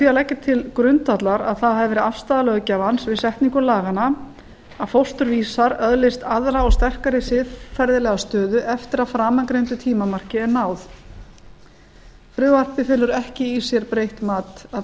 að leggja til grundvallar að það hafi verið afstaða löggjafans við setningu laganna að fósturvísar öðlist aðra og sterkari siðferðilega stöðu eftir að framangreindu tímamarki er náð frumvarpið felur ekki í sér breytt mat að